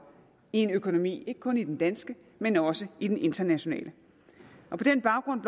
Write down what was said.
i økonomien ikke kun i den danske men også i den internationale på den baggrund